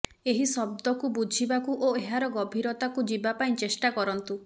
ଏହି ଶବ୍ଦକୁ ବୁଝିବାକୁ ଓ ଏହାର ଗଭୀରତାକୁ ଯିବା ପାଇଁ ଚେଷ୍ଟା କରନ୍ତୁ